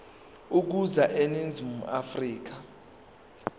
ukuza eningizimu afrika